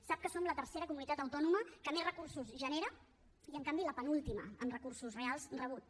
sap que som la tercera comunitat autònoma que més recursos genera i en canvi la penúltima en recursos reals rebuts